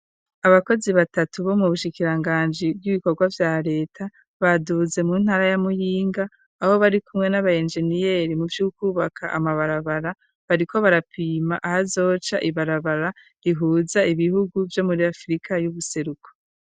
Abakozi batatu bo mu bushikiranganji b'ibikorwa vya reta baduze mu ntara ya muyinga aho bari kumwe n'aba engeniyeri mu vyukubaka amabarabara bari ko barapima aho zoca ibarabara rihuza ibihugu vyo muri afirika y'ubuseruku.